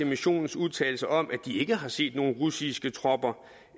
missionens udtalelser om at de ikke har set nogle russiske tropper